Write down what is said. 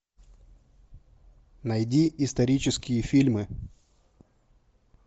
найди исторические фильмы